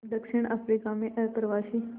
दक्षिण अफ्रीका में अप्रवासी